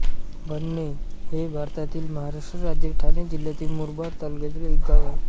भडणे हे भारतातील महाराष्ट्र राज्यातील ठाणे जिल्ह्यातील मुरबाड तालुक्यातील एक गाव आहे